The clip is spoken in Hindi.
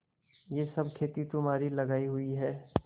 यह सब खेती तुम्हारी लगायी हुई है